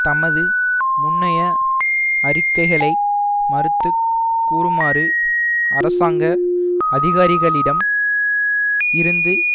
தமது முன்னைய அறிக்கைகளை மறுத்து கூறுமாறு அரசாங்க அதிகாரிகளிடம் இருந்து